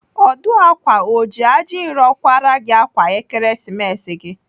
Ọdụ ákwà o ji ajinro kwara gị ákwà Ekeresimesi gị?